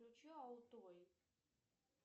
включи алтой